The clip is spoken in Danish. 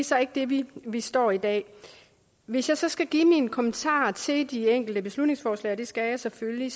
så ikke der vi vi står i dag hvis jeg så skal give mine kommentarer til de enkelte beslutningsforslag og det skal jeg selvfølgelig